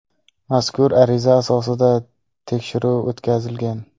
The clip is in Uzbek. Mazkur ariza asosida tekshiruv o‘tkazilgan.